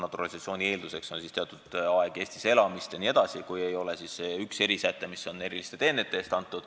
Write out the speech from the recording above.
Naturalisatsiooni eelduseks on siis teatud aeg Eestis elamist jne, kui ei ole tegu erisättega, mis on kodakondsus eriliste teenete eest.